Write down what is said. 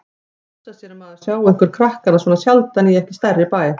Hugsa sér að maður sjái ykkur krakkana svona sjaldan í ekki stærri bæ.